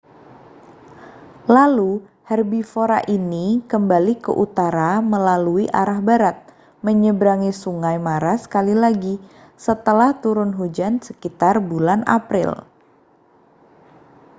lalu herbivora ini kembali ke utara melalui arah barat menyeberangi sungai mara sekali lagi setelah turun hujan sekitar bulan april